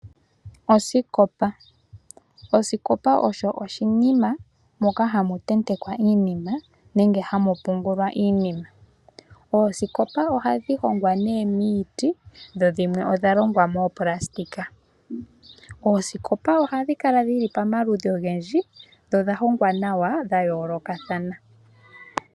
Osikopa osho oshinima moka hamu tentekwa iinima, nenge hamu pungulwa iinima. Oosikopa ohadhi hongwa miiti, dho dhimwe odha longwa moopulasitika. Oosikopa ohadhi kala dhi li pamaludhi ogendji, dho odha hongwa nawa dha yoolokathana.